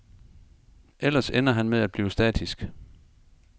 Ellers ender han med at blive statisk.